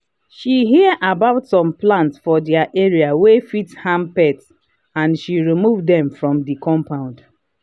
she hear about some plants for their area wey fit harm pets and and she remove them from the compound.